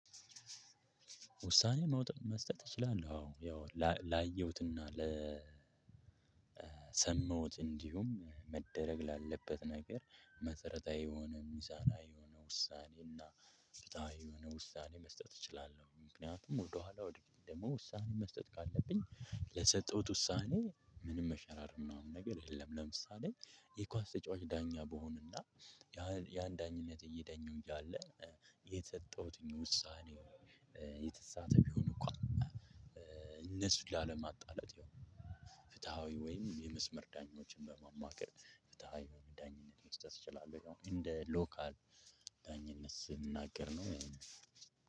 ውሳኔ መውጣት መስጠት እችላለሁ አዎ ያው ላየሁትና ለሰመሁት እንዲሁም መደረግ ላለበት ነገር መሰረታዊ የሆነ ሚሳናዊ የሆኑ ውሳኔዎች እና ፍትሃዊ የሆነ ውሳኔ መስጠት እችላለሁ። ምክንያቱም ወደኋላ ወደፊት ደግሞ ውሳኔ መስጠት ካለብኝ ለሰጠውት ውሳኔ ምንም መሸራረፍ ምናምን ነገር የለም። ለምሳሌ የኳስ ተጫዋች ዳኛ ብሆንና። ያን ዳኝነት እየዳኙ እያለ የተሰጠሁትን ውሳኔ። የተሳተ ቢሆን እኳን። እነሱ ላለማጣላት ያው ፍትሃዊ ወይም የመስመር ዳኞችን በማማከር ዳኝነት መስጠት እችላለሁ ማለት ነው። እንደ ሎካል ዳኝነት ስንናገር ነው።